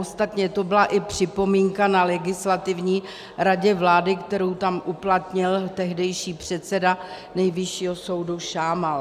Ostatně to byla i připomínka na Legislativní radě vlády, kterou tam uplatnil tehdejší předseda Nejvyššího soudu Šámal.